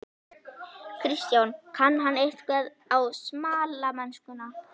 Kristján: Kann hann eitthvað á smalamennskuna?